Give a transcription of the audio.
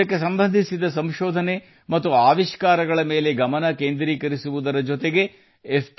ಇದಕ್ಕೆ ಸಂಬಂಧಿಸಿದ ಸಂಶೋಧನೆ ಮತ್ತು ಆವಿಷ್ಕಾರಗಳ ಮೇಲೆ ಕೇಂದ್ರೀಕರಿಸುವುದರ ಜೊತೆಗೆ ಎಫ್